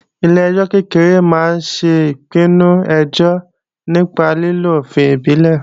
Ilé-ẹjọ́ kékeré máa ń ṣe ìpinnu ẹjọ́ nípa lílo òfin ìbílẹ̀